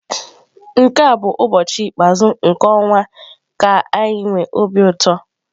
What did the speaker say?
Nke a bụ ụbọchị ikpeazụ nke ọnwa ka anyi nwe obi ụtọ.